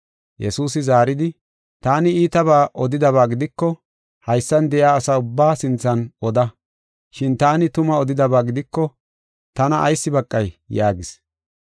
Yesuusi zaaridi, “Taani iitabaa odidaba gidiko haysan de7iya asa ubbaa sinthan oda. Shin taani tuma odidaba gidiko tana ayis baqay?” yaagis.